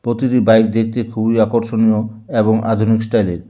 প্রতিটি বাইক দেখতে খুবই আকর্ষণীয় এবং আধুনিক স্টাইলের।